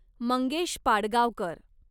Mangesh Padgaonkar